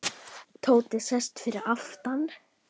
Tóti settist fyrir aftan.